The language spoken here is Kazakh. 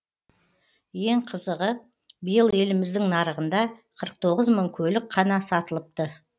ең қызығы биыл еліміздің нарығында қырық тоғыз мың көлік қана сатылыпты